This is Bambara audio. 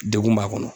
Degun b'a kɔnɔ